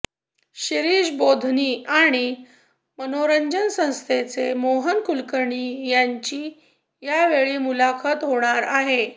शिरीष बोधनी आणि मनोरंजन संस्थेचे मोहन कुलकर्णी यांची यावेळी मुलाखत होणार आहे